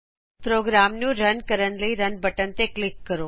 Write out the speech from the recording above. programme ਨੂੰ run ਕਰਨ ਲਈ ਰਨ ਬਟਨ ਤੇ ਕਲਿਕ ਕਰੋ